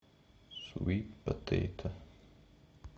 свит потэйто